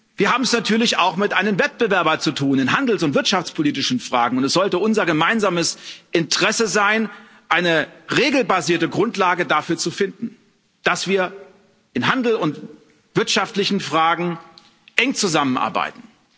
Wir haben es natürlich auch mit einem Wettbewerber in handels und wirtschaftspolitischen Fragen zu tun. Es sollte unser gemeinsames Interesse sein, eine regelbasierte Grundlage dafür zu finden, dass wir in Handel und wirtschaftlichen Fragen eng zusammenarbeiten.